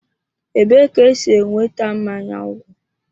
Ebee ka esi enweta mmanya ńgwọ?